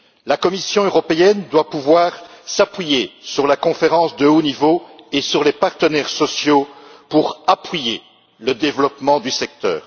La Commission européenne doit pouvoir s'appuyer sur la conférence de haut niveau et sur les partenaires sociaux pour soutenir le développement du secteur.